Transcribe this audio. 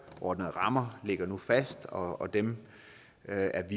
rammer ligger nu fast og dem er